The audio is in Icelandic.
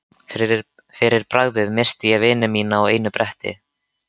Fyrir bragðið missti ég vini mína á einu bretti.